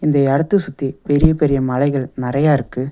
இந்த எடத்த சுத்தி பெரிய பெரிய மலைகள் நெறையா இருக்கு.